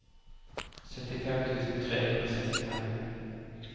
syttifem tusen tre hundre og sekstifem